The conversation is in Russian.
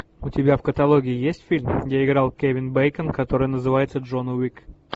у тебя в каталоге есть фильм где играл кевин бейкон который называется джон уик